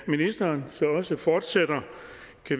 ministeren så også fortsætter